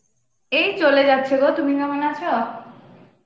এই চলে যাচ্ছে গো তুমি কেমন আছ?